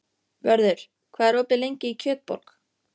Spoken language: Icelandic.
Vörður, hvað er opið lengi í Kjötborg?